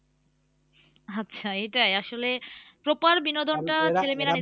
আচ্ছা এটাই আসলে proper বিনোদনটা ছেলে মেয়েরা নিতে পারছে না